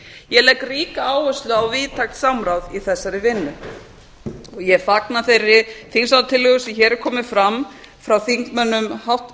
ég legg ríka áherslu á víðtækt samráð í þessari vinnu og ég fagna þeirri þingsályktunartillögu sem hér er komin fram frá